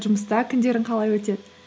жұмыста күндерің қалай өтеді